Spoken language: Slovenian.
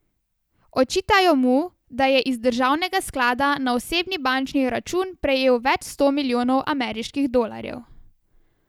Očitajo mu, da je iz državnega sklada na osebni bančni račun prejel več sto milijonov ameriških dolarjev.